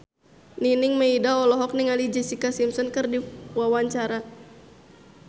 Nining Meida olohok ningali Jessica Simpson keur diwawancara